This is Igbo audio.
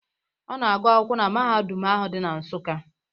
Ọ na-agụ akwụkwọ na na mahadum ahụ di na Nsukka.